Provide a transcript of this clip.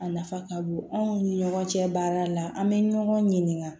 A nafa ka bon anw ni ɲɔgɔn cɛ baara la an bɛ ɲɔgɔn ɲininka